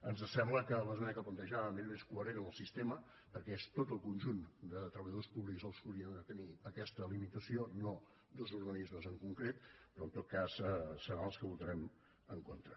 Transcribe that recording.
ens sembla que l’esmena que plantejàvem era més coherent amb el sistema perquè és tot el conjunt de treballadors públics els que haurien de tenir aquesta limitació no dos organismes en concret però en tot cas seran els que votarem en contra